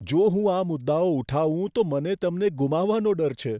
જો હું આ મુદ્દાઓ ઉઠાવું તો મને તમને ગુમાવવાનો ડર છે.